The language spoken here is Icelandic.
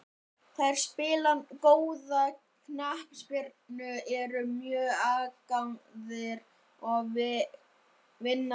Þeir spila góða knattspyrnu, eru mjög agaðir og vinna leiki.